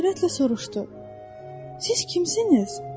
O heyrətlə soruştu: "Siz kimsiniz?"